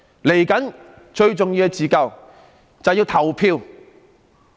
未來最重要的自救，就是要投票。